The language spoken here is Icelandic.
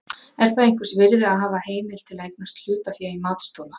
Er það einhvers virði að hafa heimild til að eignast hlutafé í matsþola?